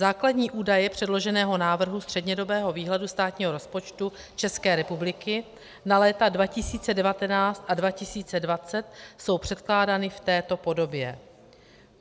Základní údaje předloženého návrhu střednědobého výhledu státního rozpočtu České republiky na léta 2019 a 2020 jsou předkládány v této podobě: